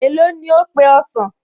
Èló ni ó pe ọsàn?